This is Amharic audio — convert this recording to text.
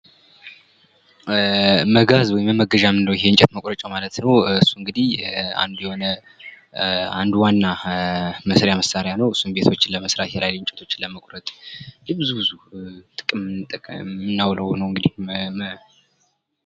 መጋዝ ወይም መመገዣ የምንለው የእንጨት መቁረጫው ማለት ኘው። እሱ እንግዲህ አንድ ዋና መስሪያ መሳሪያ ነው እሱም ቤቶችን ለመስራት የተለያዩ እንጨቶችን ለመቁረጥ የብዙ ብዙ ጥቅም እምናውለው ነው እንግዲህ።